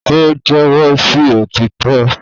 o jẹwọ sí òtítọ